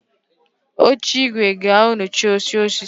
Oche igwe g'anochi oche osisi